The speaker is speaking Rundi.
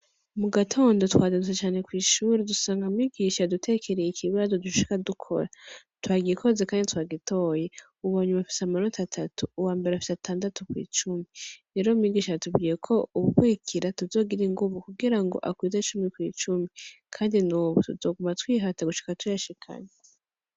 Mu gatondo twazindutse cane kw'ishure dusanga mwigisha yadutekereye ikibazo dushika dukora. Twagikoze, kandi twagitoye. Uwa nyuma afise amanota atatu, uwa mbere afise atandatu kw'icumi. Rero mwigisha yatubwiye ko ubukurikira tuzogira inguvu, kugira akwize cumi kw'icumi. Kandi n'ubu, tuzoguma twihata gushika tuyashikane.